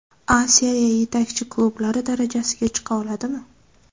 A Seriya yetakchi klublari darajasiga chiqa oladimi?